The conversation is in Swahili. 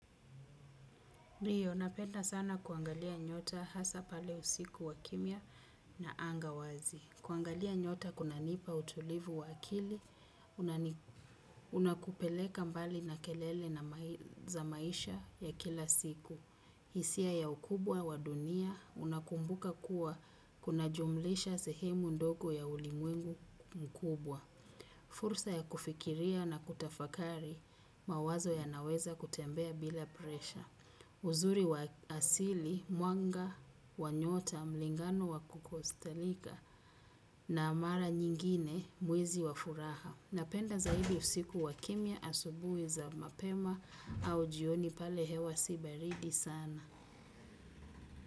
Ndio, napenda sana kuangalia nyota hasa pale usiku wa kimya na anga wazi. Kuangalia nyota kunanipa utulivu wa akili, unakupeleka mbali na kelele na maisha ya kila siku. Hisia ya ukubwa wa dunia, unakumbuka kuwa kunajumlisha sehemu ndogo ya ulimwengu mkubwa. Fursa ya kufikiria na kutafakari. Mawazo yanaweza kutembea bila presha. Uzuri wa asili, mwanga wanyota, mlingano wa kukostalika na mara nyingine mwezi wa furaha. Napenda zaidi usiku wa kimya asubuhi za mapema au jioni pale hewa si baridi sana.